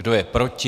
Kdo je proti?